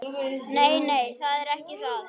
Nei, nei, það er ekki það.